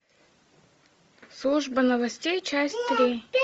служба новостей часть три